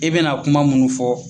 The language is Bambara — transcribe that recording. E bɛna kuma minnu fɔ